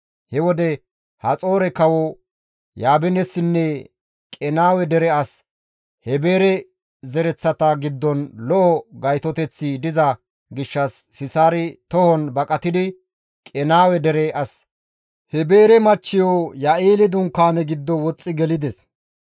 He wode Haxoore kawo Yaabinessinne Qenaawe dere as Heebere zereththata giddon lo7o gaytoteththi diza gishshas Sisaari tohon baqatidi Qenaawe dere as Heebere machchiyo Ya7eeli dunkaane giddo woxxi gelides.